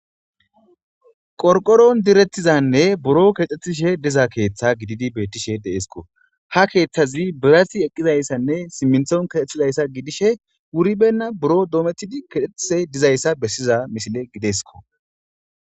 qorqoron direttizanne buro kexxethishe diza keeththa gididi bettishe deesko ha keeththazi birasi eqqizayssanne simminthon kexethizayssa gidishe wuribenna buro doometidi kexextise dizayssa bessiza misile gideskko